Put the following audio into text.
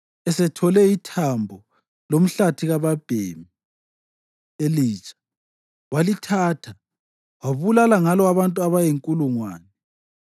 Esethole ithambo lomhlathi kababhemi elitsha, walithatha wabulala ngalo abantu abayinkulungwane.